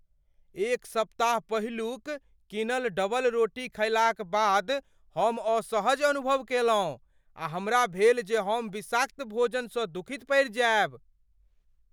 एक सप्ताह पहिलुक कीनल डबलरोटी खयलाक बाद हम असहज अनुभव कयलहुँ आ हमरा भेल जे हम विषाक्त भोजनसँ दुखित पड़ि जायब।